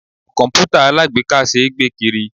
Komputa alagbeeka ṣé gbé kiri.